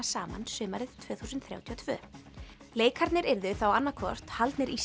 saman sumarið tvö þúsund þrjátíu og tvö leikarnir yrðu þá annað hvort haldnir í